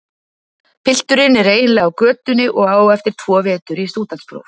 Pilturinn er eiginlega á götunni og á eftir tvo vetur í stúdentspróf.